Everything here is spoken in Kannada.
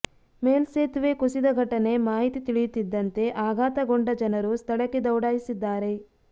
ಮೇಲ್ಸೆತುವೆ ಕುಸಿದ ಘಟನೆ ಮಾಹಿತಿ ತಿಳಿಯುತ್ತಿದ್ದಂತೆ ಆಘಾತಗೊಂಡ ಜನರು ಸ್ಥಳಕ್ಕೆ ದೌಡಾಯಿಸಿದ್ದಾರೆ